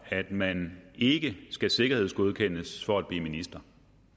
at man ikke skal sikkerhedsgodkendes for at blive minister